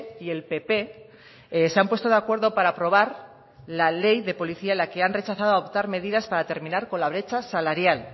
y el pp se han puesto de acuerdo para aprobar la ley de policía en la que han rechazado a optar medidas para terminar con la brecha salarial